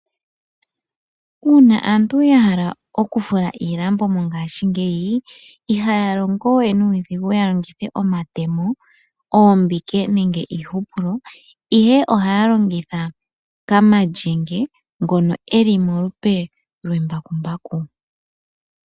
Uuna aantu ya hala okufula iilambo mongashingeyi, ihaya longo we nuudhigu ya longithe omatemo, oombike nenge iihupulo, ihe ohaya longitha kamalyenge ngono eli molupe lwembakumbaku.